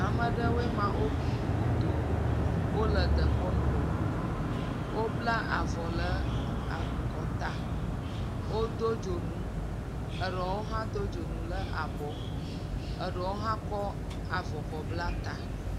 Ame aɖewo ma woƒo ƒu godoo. Wole dekɔnu wɔm. Wobla avɔ ɖe akɔta. Wodo dzonu edo hã do dzonu le abɔ. Eɖewo hã kɔ avɔ bla ta.